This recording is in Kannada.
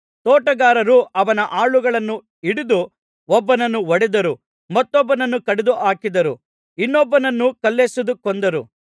ತೋಟಗಾರರು ಅವನ ಆಳುಗಳನ್ನು ಹಿಡಿದು ಒಬ್ಬನನ್ನು ಹೊಡೆದರು ಮತ್ತೊಬ್ಬನನ್ನು ಕಡಿದು ಹಾಕಿದರು ಇನ್ನೊಬ್ಬನನ್ನು ಕಲ್ಲೆಸೆದು ಕೊಂದರು